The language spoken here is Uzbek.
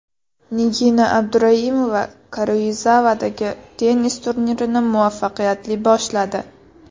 Nigina Abduraimova Karuizavadagi tennis turnirini muvaffaqiyatli boshladi.